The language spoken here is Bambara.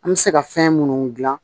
An bɛ se ka fɛn munnu gilan